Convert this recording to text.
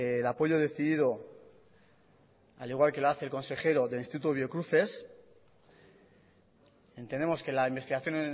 el apoyo decidido al igual que lo hace el consejero del instituto biocruces entendemos que la investigación